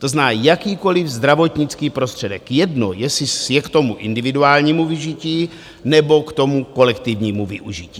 To znamená, jakýkoliv zdravotnický prostředek, jedno, jestli je k tomu individuálnímu využití, nebo k tomu kolektivnímu využití.